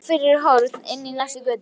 Hvarf fyrir horn inn í næstu götu.